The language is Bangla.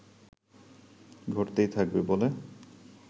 ঘটতেই থাকবে বলে